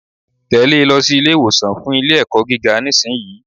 Tèlé e lọ sí Ilé ìwòsàn fun Ilé ẹ̀kọ́ gíga nísìnyí